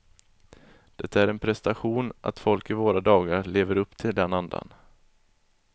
Det är en prestation att folk i våra dagar lever upp till den andan.